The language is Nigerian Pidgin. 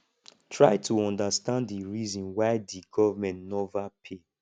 try to understand di reason why di governement nova pay